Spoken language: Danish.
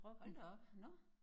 Hold da op nårh